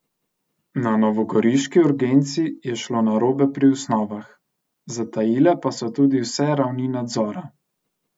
Na novogoriški urgenci je šlo narobe pri osnovah, zatajile pa so tudi vse ravni nadzora.